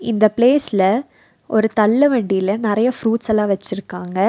இந்த பிளேஸ்ல ஒரு தள்ளு வண்டியில நெறைய ஃப்ரூட்ஸ் எல்லா வச்சிருக்காங்க.